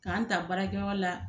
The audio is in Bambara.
K'an ta baara kɛ yɔrɔ la